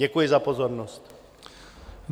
Děkuji za pozornost.